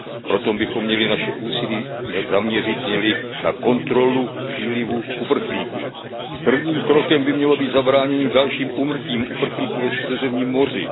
Proto bychom měli naše úsilí zaměřit na kontrolu přílivu uprchlíků. Prvním krokem by mělo být zabránění dalším úmrtím uprchlíků ve Středozemním moři.